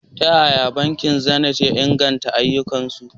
Ta yaya bankin Zenith ya inganta ayyukansu?